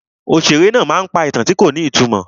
Òṣèré náà pa ìtàn tí kò ní ìtumọ̀.